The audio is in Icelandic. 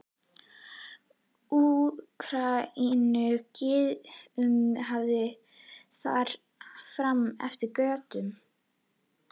Úkraínumaður, Gyðingur og þar fram eftir götum.